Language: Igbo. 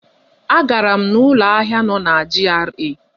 Agara m n'ụlọ ahịa nọ na GRA.